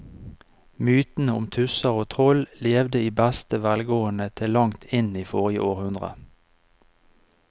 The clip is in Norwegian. Mytene om tusser og troll levde i beste velgående til langt inn i forrige århundre.